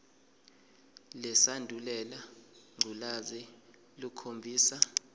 lesandulela ngculazi lukhombisa